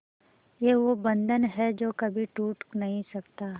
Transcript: ये वो बंधन है जो कभी टूट नही सकता